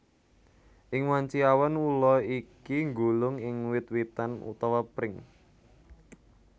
Ing wanci awan ula iki nggulung ing wit witan utawa pring